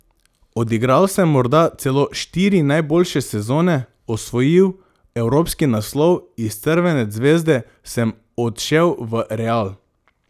Odigral sem morda celo štiri najboljše sezone, osvojil evropski naslov, iz Crvene zvezde sem odšel v Real ...